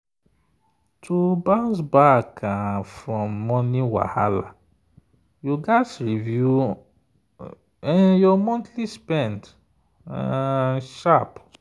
to bounce back um from money wahala you gats review your um monthly spend um sharp.